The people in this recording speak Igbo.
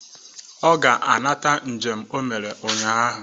Ọ ga-anata njem o mere ụnyaahụ.